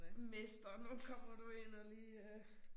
Mester nu kommer du ind og lige øh